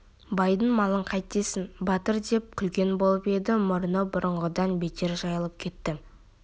байдың малын қайтесің батыр деп күлген болып еді мұрны бұрынғыдан бетер жайылып кетті